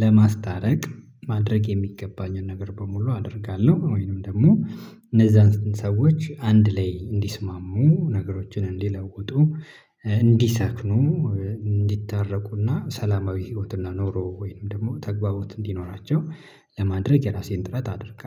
ለማስታረቅ ማድረግ የሚገባኝን ነገር በሙሉ አደርጋለሁ። ወይንም ደግሞ እነዛን ሰዎች አንድ ላይ እንዲስማሙ ነገሮችን እንዲለውጡ እንዲሰክኑ እንዲታረቁና ሰላማዊ ህይወትና ኖሮ ወይንም ደግሞ ተግባቦት እንዲኖራቸው። ለማድረግ የራሴን ጥረት አድርጋለሁ